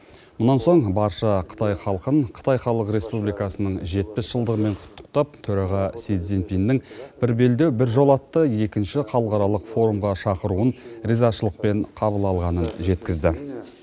бұдан соң барша қытай халқын қытай халық республикасының жетпіс жылдығымен құттықтап төраға си цзиньпиннің бір белдеу бір жол атты екінші халықаралық форумға шақыруын ризашылықпен қабыл алғанын жеткізді